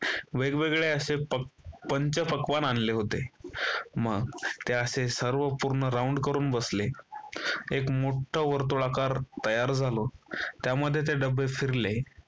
वेगवेगळे असे पंचपक्वान्न आणले होते मग ते असे सर्व पूर्ण round करून बसले एक मोठा वर्तुळाकार तयार झाला त्यामध्ये ते डबे फिरले.